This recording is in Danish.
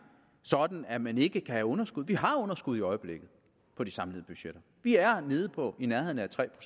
sådan at man ikke kan have underskud vi har underskud i øjeblikket på de samlede budgetter vi er nede på i nærheden af tre